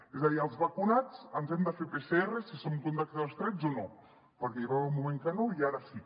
és a dir els vacunats ens hem de fer pcr si som contactes estrets o no perquè hi va haver un moment que no i ara sí